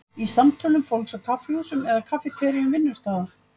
Í samtölum fólks á kaffihúsum eða kaffiteríum vinnustaða?